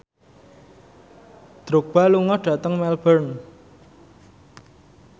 Drogba lunga dhateng Melbourne